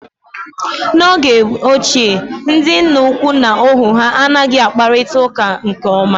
N'oge ochie, ndị nna ukwu na ohu ha anghị akparịta uka nke ọma